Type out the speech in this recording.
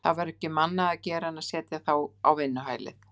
Það var ekki um annað að gera en að setja þá á vinnuhælið.